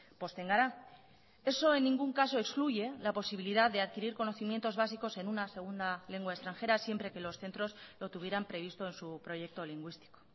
pozten gara eso en ningún caso excluye la posibilidad de adquirir conocimientos básicos en una segunda lengua extranjera siempre que los centros lo tuvieran previsto en su proyecto lingüístico